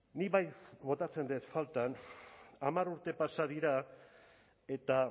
nik bai botatzen dut faltan hamar urte pasa dira eta